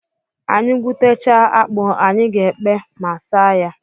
Anyị gwutechaa akpụ, anyị ga-ekpe ma saa ya.